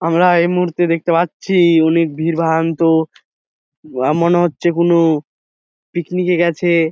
আমরা এই মুহূর্তে দেখতে পাচ্ছি অনকে ভিড়বাড়ন্ত এই মনে হচ্ছে কোনো পিকনিকে গেছে।